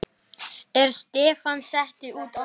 Er stefnan sett út aftur?